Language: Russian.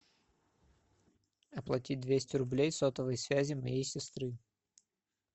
оплатить двести рублей сотовой связи моей сестры